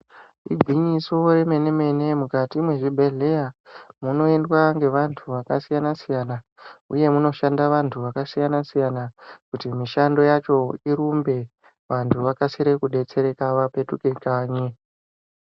Igwinyiso remene-mene mukati mwezvibhehleya munoendwa ngevanhu vakasiyana-siyana uye munoshanda vantu vakasiyana-siyana kuti mishando yacho irumbe, vantu vakasire kudetsereka vapetuke kanyi.